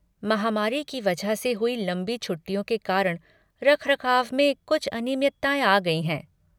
महामारी की वजह से हुई लंबी छुट्टियों के कारण रखरखाव में कुछ अनियमितताएँ आ गई हैं।